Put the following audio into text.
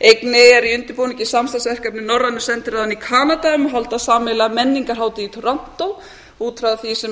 einnig er í undirbúningi samstarfsverkefni norrænu sendinefndarinnar í kanada um að halda sameiginlega menningarhátíð í toronto út frá því sem